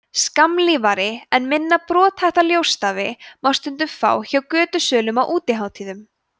skammlífari en minna brothætta ljósstafi má stundum fá hjá götusölum á útihátíðum